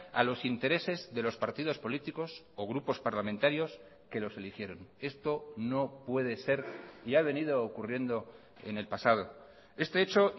a los intereses de los partidos políticos o grupos parlamentarios que los eligieron esto no puede ser y ha venido ocurriendo en el pasado este hecho